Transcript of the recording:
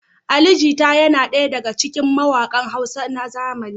Ali Jita yana daya daga cikin mawaƙan Hausa na zamani.